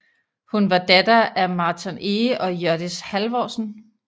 Hun var datter af Marton Ege og Hjørdis Halvorsen